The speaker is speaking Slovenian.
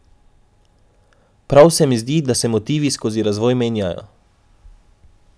Prav se mi zdi, da se motivi skozi razvoj menjajo.